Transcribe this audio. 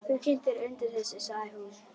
Þú kyntir undir þessu, sagði hún.